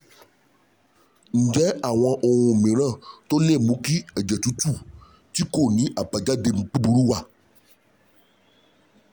Ǹjẹ́ àwọn ohun mìíràn tó lè mú kí ẹ̀jẹ̀ tútù tí kò ní àbájáde búburú wà?